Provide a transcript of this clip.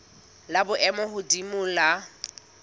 la boemo bo hodimo la